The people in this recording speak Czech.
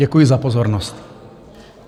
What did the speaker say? Děkuji za pozornost.